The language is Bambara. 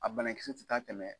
A bana kisɛ ti taa tɛmɛ